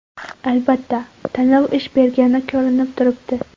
Albatta, tanlov ish bergani ko‘rinib turibdi.